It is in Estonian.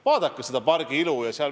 Vaadake selle pargi ilu!